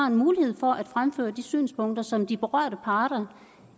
en mulighed for at fremføre de synspunkter som de berørte parter